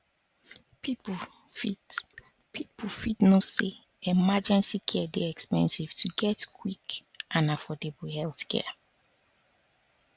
people fit people fit know say emergency care dey expensive to get quick and affordable healthcare